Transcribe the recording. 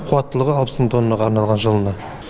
қуаттылығы алпыс мың тоннаға арналған жылына